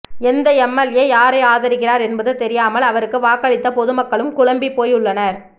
எந்த எம்எல்ஏ யாரை ஆதரிக்கிறார் என்பது தெரியாமல் அவருக்கு வாக்களித்த பொதுமக்களும் குழம்பிப் போயுள்ளனர்